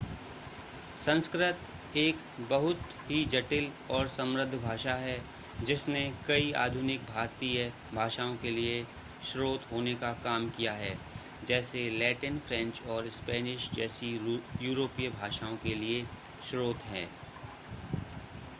संस्कृत एक बहुत ही जटिल और समृद्ध भाषा है जिसने कई आधुनिक भारतीय भाषाओं के लिए स्रोत होने का काम किया है जैसे लैटिन फ्रेंच और स्पेनिश जैसी यूरोपीय भाषाओं के लिए स्रोत है